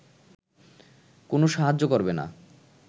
কোন সাহায্য করবে না